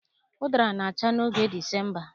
Ụdara na-acha n'oge Disemba